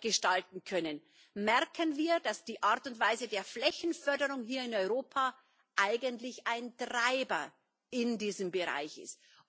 gestalten können, merken wir, dass die Art und Weise der Flächenförderung hier in Europa eigentlich ein Treiber in diesem Bereich ist.